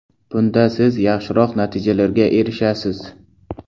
Bunda siz yaxshiroq natijalarga erishasiz!